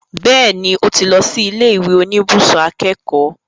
Bẹ́ẹ̀ni, ó ti lọ sí ilé ìwé oníbùsùn akẹ́kọ̀ọ́